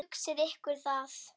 Hugsið ykkur það.